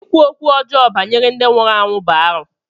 Ịkwu okwu ọjọọ banyere ndị nwụrụ anwụ bụ arụ.